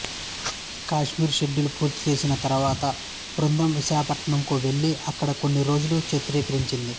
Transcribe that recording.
Kashmir schedule పూర్తిచేసిన తరువాత బృందం విశాఖపట్నంకు వెళ్ళి అక్కడ కొన్ని రోజులు చిత్రీకరించింది